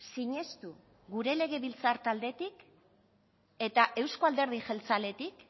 sinestu gure legebiltzar taldetik eta euzko alderdi jeltzaletik